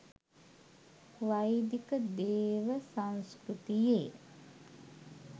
වෛදික දේව සංස්කෘතියේ